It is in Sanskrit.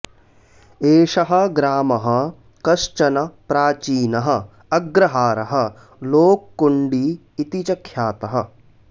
एषः ग्रामः कश्चन प्राचीनः अग्रहारः लोक्कुण्डी इति च ख्यातः